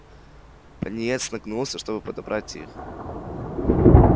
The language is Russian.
пониетс нагнулся чтобы подобрать их